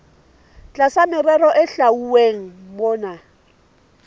tlasa merero e hlwauweng mona